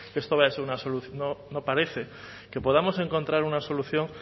que esto vaya a ser una no parece que podamos encontrar una solución